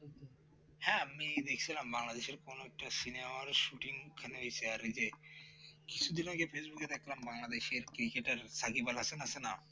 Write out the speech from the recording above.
হ্যাঁ আমি দেখছিলাম বাংলাদেশ এর কোন একটা Cinema এর Shooting ওখানে হয়েছে আর‌ এই যে কিছুদিন আগে Facebook এ দেখলাম বাংলাদেশ এর cricketer সাকিবুল হাসান আছে না